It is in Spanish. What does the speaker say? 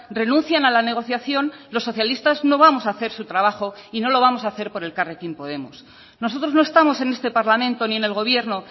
renuncian a la negociación los socialistas no vamos a hacer su trabajo y no lo vamos a hacer por elkarrekin podemos nosotros no estamos en este parlamento ni en el gobierno